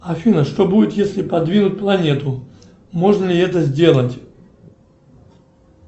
афина что будет если подвинуть планету можно ли это сделать